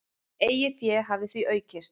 Eigið fé hafi því aukist.